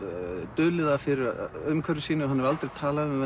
dulið það fyrir umhverfi sínu hann hefur aldrei talað um